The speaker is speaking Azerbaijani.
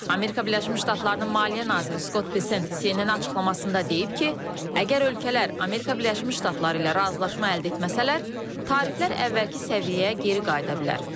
Amerika Birləşmiş Ştatlarının maliyyə naziri Scott Bicent CNN-ə açıqlamasında deyib ki, əgər ölkələr Amerika Birləşmiş Ştatları ilə razılaşma əldə etməsələr, tariflər əvvəlki səviyyəyə geri qayıda bilər.